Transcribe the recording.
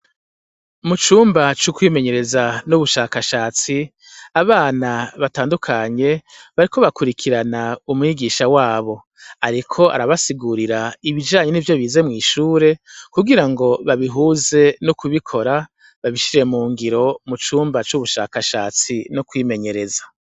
Mucumba c' ukwimenyereza n' ubushakashatsi, abana batandukanye bariko bakurikiran' umwigisha wab' arik' arabasigurir' ibijanye nivyo bize mw' ishure, kugirango babihuze n' ukubikora babishire mungiro mucumba c' ubushakashatsi n' ukwimenyereza.